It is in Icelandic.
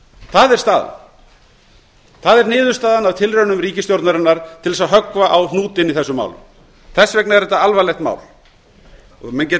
það er staðan það er niðurstaðan af tilraunum ríkisstjórnarinnar til að höggva á hnútinn í þessum málum þess vegna er þetta alvarlegt mál menn geta